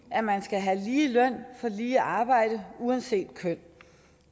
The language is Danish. at man skal have lige løn for lige arbejde uanset køn